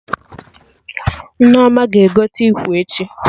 Nneoma ga-egote ikwe echi